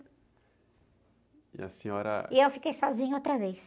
E a senhora... eu fiquei sozinha outra vez.